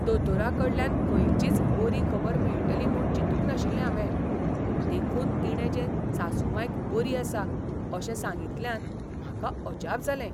दोतोराकडल्यान खंयचीच बरी खबर मेळटली म्हूण चिंतूक नाशिल्लें हांवें, देखून तिणें जे सासूमांयक बरी आसा अशें सांगितल्यान म्हाका अजाप जालें.